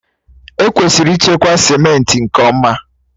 Ekwesịrị ịchekwa simenti nke ọma.